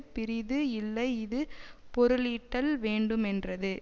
பிறிது இல்லை இது பொருளீட்டல் வேண்டுமென்றது